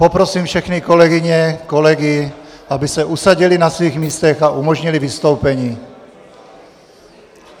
Poprosím všechny kolegyně, kolegy, aby se usadili na svých místech a umožnili vystoupení.